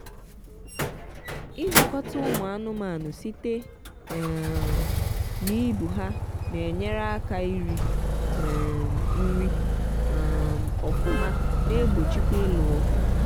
idọkota ụmụ anụmanụ site um na ibu ha na enyere aka iri um nri um ọfụma na egbochikwa ịlụ ọgụ.